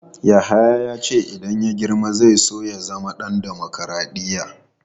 Yahaya ya ce idan ya girma zai so ya zama ɗan dimokradiyya.